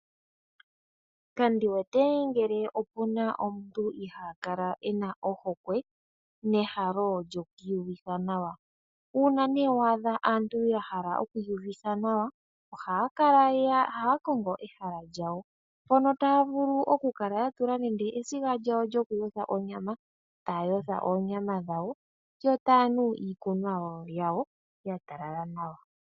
Kandiwete ngele opuna omuntu ihaakala e na ohokwe nehalo lyoku iyuvitha nawa. Uuna wa adha aantu ya hala oku iyuvitha nawa ohaya kongo ehala lyawo mpono taya vulu okukala ya tula nande esiga lyawo lyokuyotha onyama, taya yotha oonyama dhawo yo taya nu iikunwa yawo yatalala nawa.